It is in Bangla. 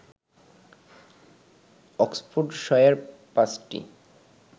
অক্সফোর্ডশায়ার পাঁচটি